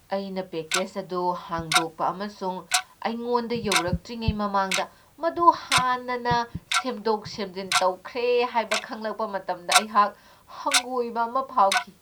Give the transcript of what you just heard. ꯑꯩꯅ ꯄꯦꯀꯦꯖ ꯑꯗꯨ ꯍꯥꯡꯗꯣꯛꯄ ꯑꯃꯁꯨꯡ ꯑꯩꯉꯣꯟꯗ ꯌꯧꯔꯛꯇ꯭ꯔꯤꯉꯩ ꯃꯃꯥꯡꯗ ꯃꯗꯨ ꯍꯥꯟꯅꯅ ꯁꯦꯝꯗꯣꯛ ꯁꯦꯝꯖꯤꯟ ꯇꯧꯈ꯭ꯔꯦ ꯍꯥꯏꯕ ꯈꯪꯂꯛꯄ ꯃꯇꯝꯗ ꯑꯩꯍꯥꯛ ꯍꯪꯒꯣꯏꯕ ꯑꯃ ꯐꯥꯎꯈꯤ꯫